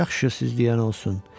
Yaxşı, siz deyən olsun.